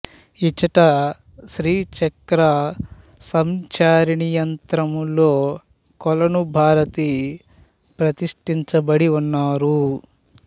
ఇచ్చటశ్రీ చక్ర సంచారిణీయంత్రములో కొలను భారతి ప్రతిష్ఠించ బడి ఉన్నారు